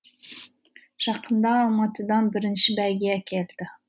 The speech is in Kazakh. жақында алматыдан бірінші бәйге әкелді